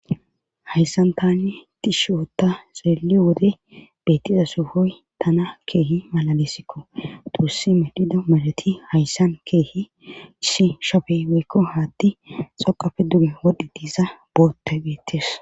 hayssan tani tishota xeeliyo wode beettiza suhoy tana keehi malalesikko tursi medhida marati hayssan keehi shi shafeyweykko haatti xoqafe duge wodhi diiza bootte geettes